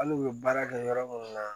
Hali u bɛ baara kɛ yɔrɔ minnu na